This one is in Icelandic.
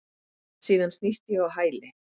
Síðan snýst ég á hæli.